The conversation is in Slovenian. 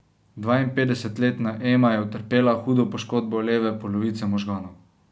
Dvainpetdesetletna Ema je utrpela hudo poškodbo leve polovice možganov.